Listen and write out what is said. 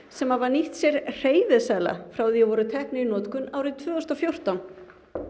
sem hafa nýtt sér hreyfiseðla frá því þeir voru teknir í notkun tvö þúsund og fjórtán